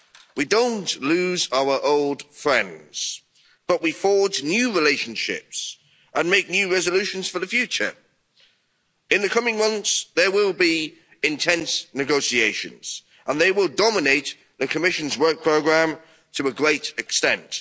We don't lose our old friends but we forge new relationships and make new resolutions for the future. In the coming months there will be intense negotiations, and they will dominate the Commission's work programme to a great extent.